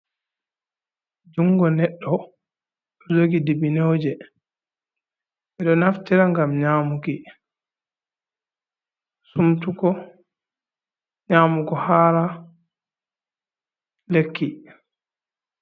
Jungo neddo dojogi dibbineuje bedo naftira ngam yo nyamugo hara lekki.